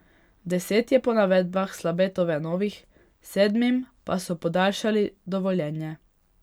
Deset je po navedbah Slabetove novih, sedmim pa so podaljšali dovoljenje.